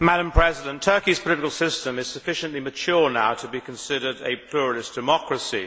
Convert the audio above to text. Madam President, Turkey's political system is sufficiently mature now to be considered a pluralist democracy.